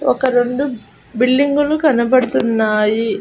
ఒక రెండు బిల్డింగులు కనబడతున్నాయి.